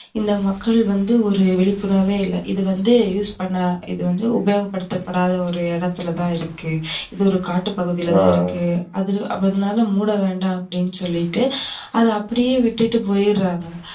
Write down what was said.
இந்த மக்கள் வந்து ஒரு விழிப்புணர்வே இல்ல. இந்த இதுவந்து use பண்ணவே இல்ல, இதுவந்து உபயோகப்படுத்தப்படாத ஒரு இடத்துலதான் இருக்கு, இது ஒரு காட்டுப்பகுதியிலதான் இருக்கு. அதுனால மூட வேணாம் அப்டினு சொல்லிட்டு அத அப்டியே விட்டுட்டு போயிறாங்க.